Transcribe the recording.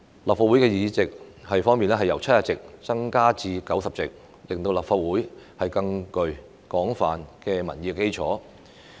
立法會議席由70席增至90席，令立法會具更廣泛的民意基礎。